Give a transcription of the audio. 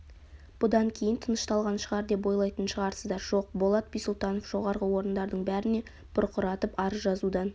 бұдан кейін тынышталған шығар деп ойлайтын шығарсыздар жоқ болат бисұлтанов жоғарғы орындардың бәріне бұрқыратып арыз жазудан